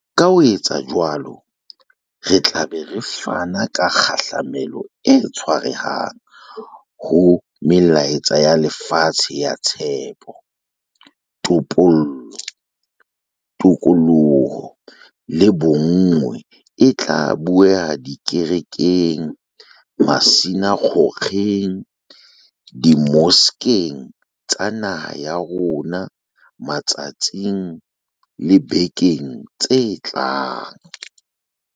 Ka ho etsa jwalo, re tla be re fana ka kgahlamelo e tshwarehang ho melaetsa ya lefatshe ya tshepo, topollo, tokoloho le bonngwe e tla bueha dikerekeng, masina kgokgeng, dimoskeng tsa naha ya bo rona matsatsing le dibekeng tse tlang.